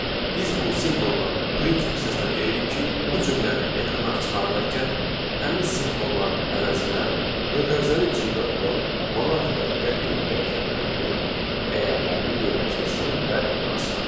Biz bu simvolla print funksiyasına deyirik ki, bu cümləni ekrana çıxardarkən həmin simvolların əvəzinə mötərizənin içində olan manat və qəpik dəyişənlərinin dəyərlərini yerləşdirsin və ekrana çıxartsın.